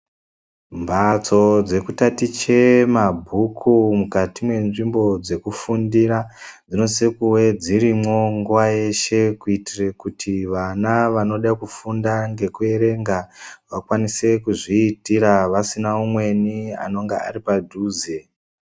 Mbhatso dzekutatiche mabhuku mukati mwenzvimbo dzekufundira dzinosise kuva dzirimwo nguwa yeshe kuitire kuti vana vanoda kufunda ngekuerenga vakwanise kuzviitira vasina umweni anonga ari padhuze.